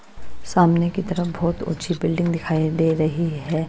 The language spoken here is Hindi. सामने की तरफ बहुत ऊंची बिल्डिंग दिखाई दे रही है।